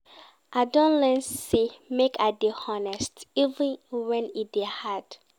I don learn sey make I dey honest even wen e dey hard.